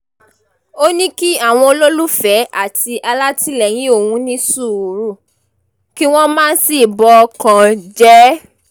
ó ní kí àwọn olólùfẹ́ àti alátìlẹyìn òun ní sùúrù kí wọ́n má sì bọkàn jẹ́